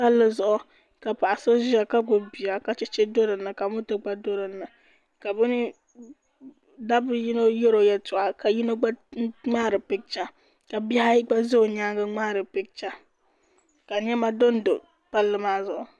Palli zuɣu ka paɣ’ so ʒiya ka gbubi bia ka cheche doli o na ka moto gba doli o na ka dabba ni yino yɛri o yɛltɔɣa ka yino gba ŋmahiri picha ka bihi ayi gba za o nyaaŋa ŋmahiri picha ka nɛma do n-do palli maa zuɣu